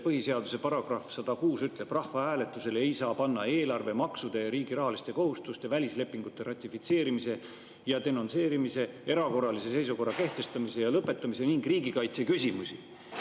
Põhiseaduse § 106 ütleb, et rahvahääletusele ei saa panna eelarve, maksude, riigi rahaliste kohustuste, välislepingute ratifitseerimise ja denonsseerimise, erakorralise seisukorra kehtestamise ja lõpetamise ning riigikaitse küsimusi.